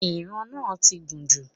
Ìran náà ti gùn jù